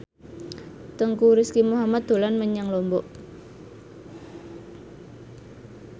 Teuku Rizky Muhammad dolan menyang Lombok